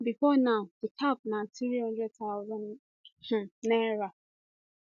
bifor now di cap na n300000 um naira